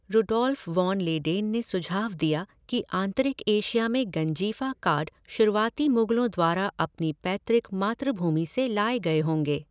Rudolf von Leyden ने सुझाव दिया कि आंतरिक एशिया में गंजीफ़ा कार्ड शुरुआती मुग़लों द्वारा अपनी पैतृक मातृभूमि से लाए गए होंगे।